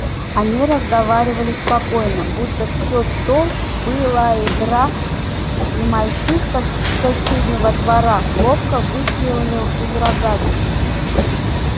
они разговаривали спокойно будто всё то была игра и мальчишка с соседнего двора ловко выстрелил из рогатки